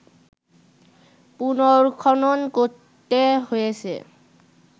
পুনর্খনন করতে হয়েছে